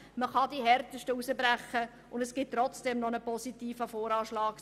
Man kann die härtesten herausbrechen, und es gibt trotzdem noch einen positiven VA 2018.